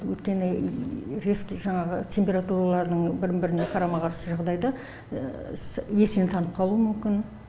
өйткені резкий жаңағы температуралардың бір біріне қарама қарсы жағдайда есінен танып қалуы мүмкін